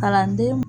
Kalanden